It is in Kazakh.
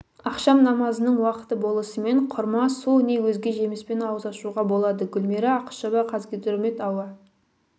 ақшам намазының уақыты болысымен құрма су не өзге жеміспен ауыз ашуға болады гүлмира ақышева қазгидромет ауа